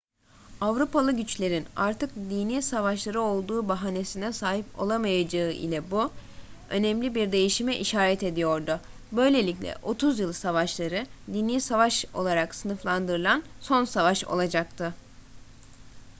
avrupalı güçlerin artık dini savaşları olduğu bahanesine sahip olamayacağı ile bu önemli bir değişime işaret ediyordu böylelikle otuz yıl savaşları dini savaş olarak sınıflandırılan son savaş olacaktı